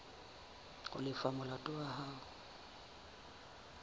ho lefa molato wa hao